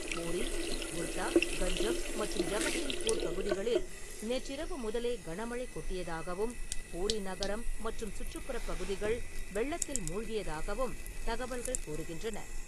பூரி, குர்தா, கஞ்சம் மற்றும் ஜகத்சிங்பூர் பகுதிகளில் நேற்றிரவு முதலே கனமழை கொட்டியதாகவும், பூரி நகரம் மற்றும் சுற்றுப்புறப் பகுதிகள் வெள்ளத்தில் மூழ்கியதாகவும் தகவல்கள் கூறுகின்றன.